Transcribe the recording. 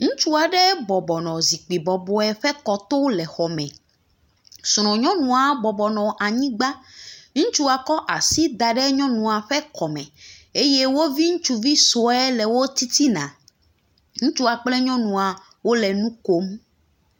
Ŋutsu aɖe bɔbɔ nɔ zikpui bɔbɔ aɖe ƒe kɔto le xɔme. Srɔ̃nyɔnua bɔbɔ nɔ anyigba. Ŋutsua kɔ asi da ɖe nyɔnua ƒe kɔme eye wovi ŋutsuvi sue nɔ wo titina. Ŋutsua kple nyɔnua wole nu kom.